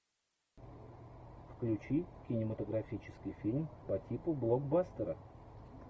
включи кинематографический фильм по типу блокбастера